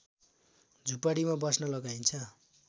झुपडीमा बस्न लगाइन्छ